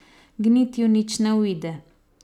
Gnitju nič ne uide.